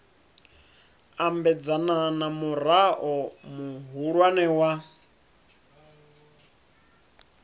ambedzana na murao muhulwane wa